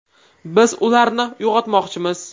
Biz ularni uyg‘otmoqchimiz.